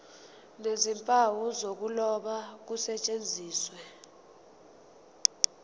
nezimpawu zokuloba kusetshenziswe